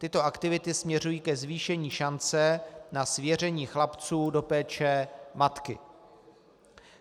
Tyto aktivity směřují ke zvýšení šance na svěření chlapců do péče matky.